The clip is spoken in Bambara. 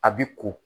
A bi ko